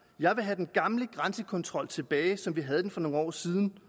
jeg vil have den gamle grænsekontrol tilbage som vi havde den for nogle år siden